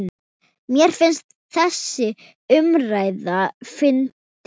Mér finnst þessi umræða fyndin.